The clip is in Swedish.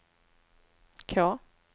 K